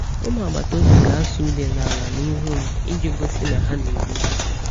Ụmụ agbata obi ga-asụ̀ ude n’ala n’ihu m iji gosi na ha na-ewe iwe.